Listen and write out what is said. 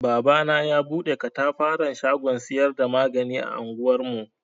Babana ya bude ƙatafaran shagon siyar da magani a anguwar mu.